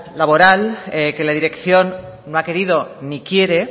laboral que la dirección no ha querido ni quiere